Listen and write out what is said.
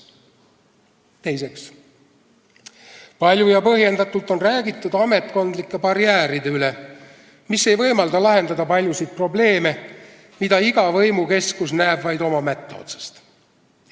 Teiseks, palju ja põhjendatult on räägitud ametkondlikest barjääridest, mis ei võimalda lahendada paljusid probleeme, mida iga võimukeskus näeb vaid oma mätta otsast.